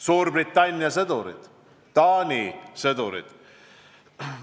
Suurbritannia sõdurid, Taani sõdurid.